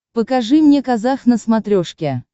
покажи мне казах на смотрешке